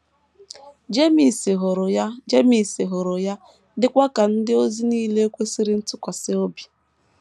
Jemes hụrụ ya Jemes hụrụ ya, dịkwa ka ndị ozi nile kwesịrị ntụkwasị obi.